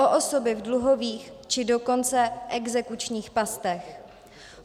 O osoby v dluhových, či dokonce exekučních pastech.